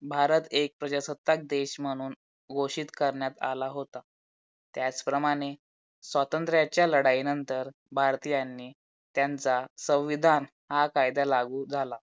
भारत एक प्रजासत्ताक देश म्हणून घोषित करण्यात आला होता. त्याचप्रमाणे स्वतंत्त्र्याच्या लढाई नंतर भारतीयांनी त्यांचा संविधान हा कायदा लागू झाला.